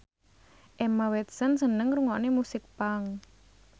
Emma Watson seneng ngrungokne musik punk